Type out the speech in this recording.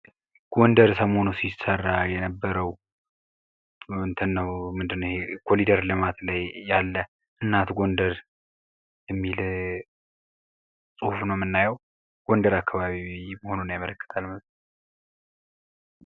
ጎንደር ሰሞኑን ይሠራ ከነበረው እንትን ምንድነው ይሄ የኮሪደር ልማት ላይ የነበረ እናት ጎንደር የሚል ጽሁፍ ነው የምናየው ጎንደር አካባቢ መሆኑን ያመለክታል።